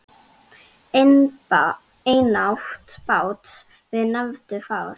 Einatt bát við nefnum far.